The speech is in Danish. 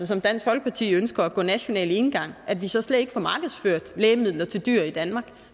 som dansk folkeparti ønsker går national enegang at vi så slet ikke får markedsført lægemidler til dyr i danmark